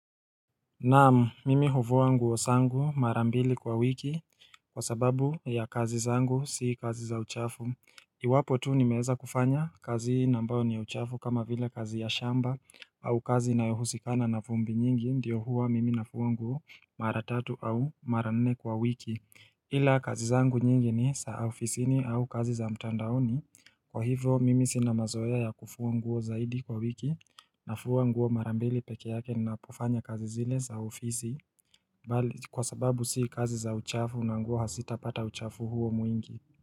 Naam, mimi hufua nguo zangu mara mbili kwa wiki kwa sababu ya kazi zangu si kazi za uchafu. Iwapo tu nimeweza kufanya kazi na ambayo ni ya uchafu kama vile kazi ya shamba au kazi inayohusikana na vumbi nyingi ndiyo huwa mimi nafua nguo mara tatu au mara nne kwa wiki. Ila kazi zangu nyingi ni za ofisini au kazi za mtandaoni Kwa hivyo mimi sina mazoea ya kufua nguo zaidi kwa wiki nafua nguo mara mbili peke yake na kufanya kazi zile za ofisi Kwa sababu si kazi za uchafu na nguo hazitapata uchafu huo mwingi.